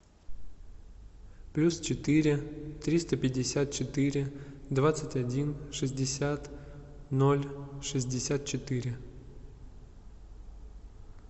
плюс четыре триста пятьдесят четыре двадцать один шестьдесят ноль шестьдесят четыре